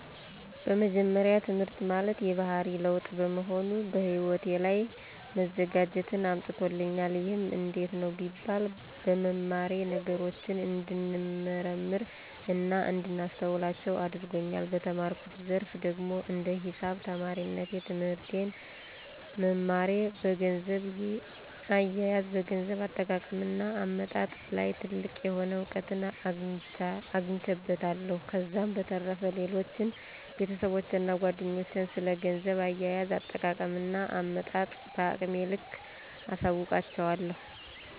በመጀመሪያ ትህምርት ማለት የባህሪ ለዉጥ በመሆኑ በህይወቴ ላይ መዘጋጀትን አምጥቶልኛል። ይህም እንዴት ነው ቢባል በመማሬ ነገሮችን እንድንመረምር እና እንዳስተውላቸው አድርጎኛል። በተማርኩት ዘርፍ ደግሞ እንደ ሂሳብ ተማሪነቴ ትህምርትን መማሬ በገንዘብ አየየዝ፣ በገንዘብ አጠቃቀም እና አመጣጥ ላይ ትልቅ የሆነ እዉቀትን አግኝቼበታለሁ። ከዛም በተረፈ ሌሎችን ቤተሰቦቼን እና ጓደኞቼን ስለ ገንዘብ አያያዝ፣ አጠቃቀም እና አመጣጥ በአቅሜ ልክ አሳዉቃቸዋለሁ።